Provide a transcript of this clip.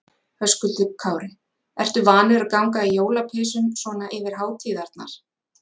Höskuldur Kári: Ertu vanur að ganga í jólapeysum svona yfir hátíðarnar?